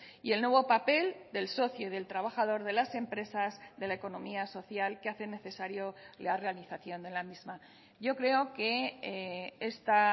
y el nuevo papel del socio del trabajador de las empresas de la economía social que hace necesario la realización de la misma yo creo que esta